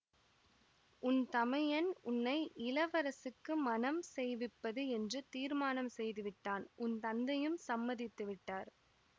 உன் தமையன் உன்னை இளவரசுக்கு மணம் செய்விப்பது என்று தீர்மானம் செய்து விட்டான் உன் தந்தையும் சம்மதித்து விட்டார்